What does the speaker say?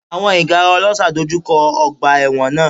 Àwọn ìgárá ọlọ́ṣà dojú kọ ọgbà ẹ̀wọ̀n náà.